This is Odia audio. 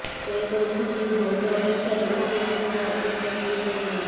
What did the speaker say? ସେ କହିଛନ୍ତି ଭୋଟ ଅପେକ୍ଷା ଲୋକଙ୍କ ଜୀବନ ଅତ୍ୟନ୍ତ ଗୁରୁତ୍ୱପୂର୍ଣ୍ଣ